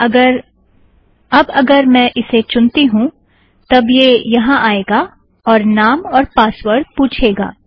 अब अगर मैं इसे चुनती हूँ तब यह यहाँ आएगा और नाम और पासवर्ड़ पूछेगा